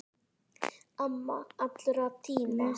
Amma allra tíma.